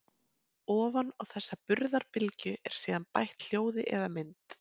ofan á þessa burðarbylgju er síðan bætt hljóði eða mynd